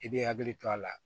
I bɛ hakili to a la